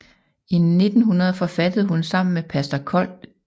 I 1900 forfattede hun sammen med pastor Kold St